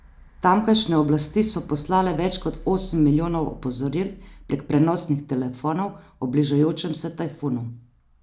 Tamkajšnje oblasti so poslale več kot osem milijonov opozoril prek prenosnih telefonov o bližajočem se tajfunu.